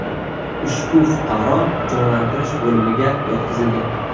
Ushbu fuqaro jonlantirish bo‘limiga yotqizilgan.